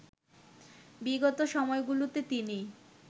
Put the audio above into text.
বিগত সময়গুলোতে তিনি